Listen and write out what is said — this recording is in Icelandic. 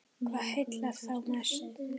Hvað heillar þá mest?